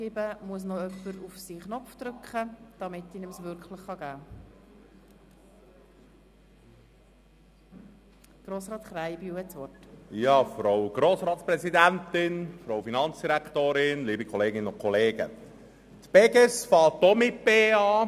Beges beginnt auch mit «Be» wie die andern grossen Berner Staatsfirmen, die Berner Kantonalbank (BEKB), die BLS AG und die Bedag Informatik AG.